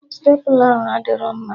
Stepla ahụ adịrọ mma